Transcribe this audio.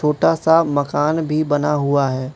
छोटा सा मकान भी बना हुआ है।